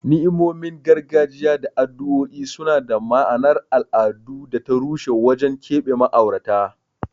Ni'imomin gargajiya da addu'o'i suna da ma'anar al'adu da ta ruhi wajen keɓe ma'aurata.